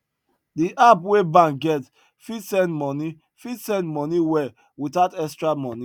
the app wey bank get fit send money fit send money well without extra moni